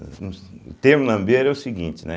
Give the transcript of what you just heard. O termo lambeiro é o seguinte, né?